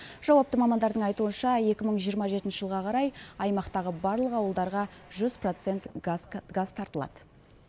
жауапты мамандардың айтуынша екі мың жиырма жетінші жылға қарай аймақтағы барлық ауылдарға жүз процент газ тартылады